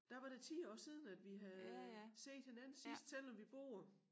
Der var det 10 år siden at vi havde set hinanden sidst selvom vi bor